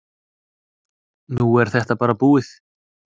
Nú er þetta bara búið.